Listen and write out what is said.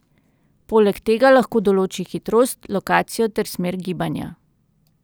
Poleg tega lahko določi hitrost, lokacijo ter smer gibanja.